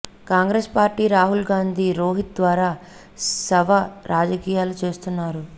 Congress party Rahul Gandhi Rohith ద్వారా శవ రాజకీయాలు చేస్తున్నారు